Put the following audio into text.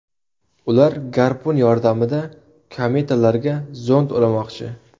Ular garpun yordamida kometalarga zond ulamoqchi.